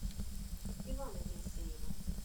ивана елисеева